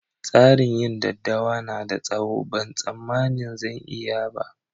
Tsarin yin daddawa na da tsawo, ban samani zan iya ba.